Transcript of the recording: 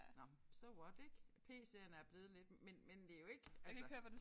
Nåh so what ik pc'erne er blevet lidt men men det jo ikke altså